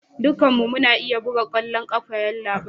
Dukkanmu muna iya buga kwallon kafa yallabai